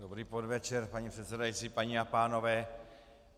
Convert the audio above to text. Dobrý podvečer, paní předsedající, paní a pánové.